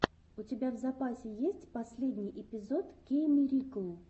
у тебя в запасе есть последний эпизод кейммирикл